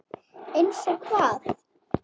Eins og hvað?